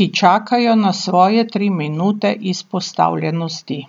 ki čakajo na svoje tri minute izpostavljenosti?